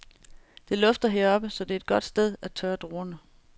Det lufter heroppe, så det er et godt sted at tørre druerne.